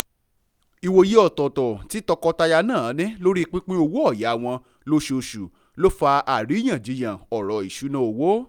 ìwòye ọ̀tọ̀ọ̀tọ̀ tí tọkọtaya náà ní lórí pípín owó-ọ̀yà wọn lóṣooṣù ló fa àríyànjíyàn ọ̀rọ̀ isúnà owó